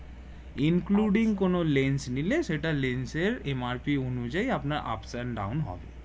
including কোনো lens নিলে সেটা লেন্স এর MRP অনুযায়ী আপনার ups and down হবে